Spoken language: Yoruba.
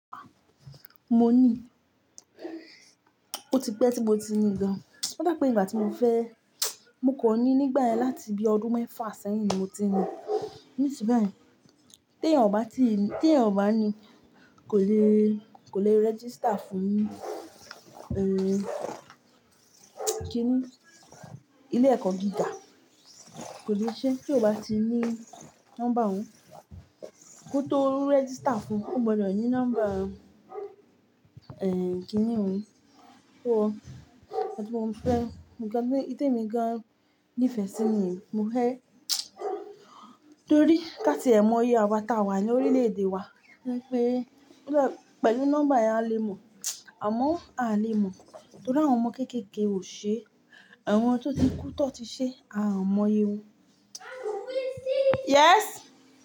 Mo ní, o ti pẹ́ tí mo ti ni gan. Ó dà pé ígbà tí mo fẹ́, mo kò ní nígbà yẹn láti bí ọdún mẹ́fà sẹ́yìn ni mo ti ni. Níṣin bayi, tí ẹ̀eyan ò bá ti, tí ẹ̀eyan ò bá ní, kò le, kò le register fún, eh, kíni, ilé ẹ̀kọ́ gíga. Kò le ṣe tí o bá ti ní nọ́mbà òun. Kó tó register fún, ó gbọdọ̀ ní nọ́mbà, eh, kíni òun? Ó, nnkan tún mo fẹ́, nnkan ní tí emi gan nífẹ̀ẹ́ sí niyen, mo fẹ́ torí káti ẹ̀ mọ yé àwa táa wà ní orílè-èdè wa wípé, pé pẹ̀lú nọ́mbà ẹ a le mọ̀. Àmọ́ a à le mọ̀ torí àwọn ọmọ kéékèèké ò ṣe é. Àwọn tó ti kú tan ti ṣe é, a ò mọ yé wọn. Yes.